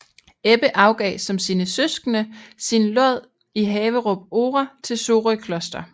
Ebbe afgav som sine søskende sin lod i Haverup Ore til Sorø Kloster